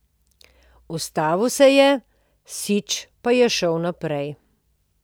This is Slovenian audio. Ustavil se je, Sič pa je šel naprej.